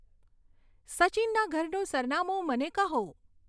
સચિનના ઘરનું સરનામું મને કહો